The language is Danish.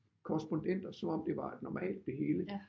Korrespondenter som om det var et normalt det hele